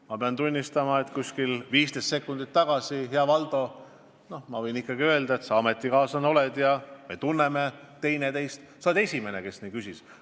Ma pean tunnistama, et kuskil 15 sekundit tagasi, hea Valdo – ma võin ju ikkagi öelda, et sa hea ametikaaslane oled, me tunneme teineteist –, olid sa esimene, kes nii küsis.